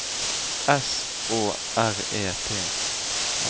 S Å R E T